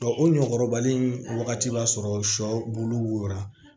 o ɲɔkɔrɔbali in wagati b'a sɔrɔ sɔ bulu wora